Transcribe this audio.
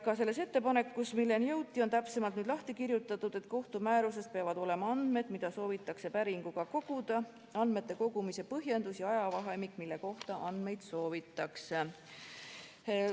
Ka selles ettepanekus, milleni jõuti, on täpsemalt lahti kirjutatud, et kohtu määruses peavad olema andmed, mida soovitakse päringuga koguda, andmete kogumise põhjendus ja ajavahemik, mille kohta andmeid soovitakse.